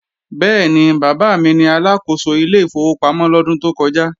Bẹ́ẹ̀ni, bàbá mi ni Aláàkóso ilé ìfowópamọ́ lọ́dún tó kọja